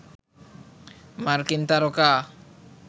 মার্কিন তারকা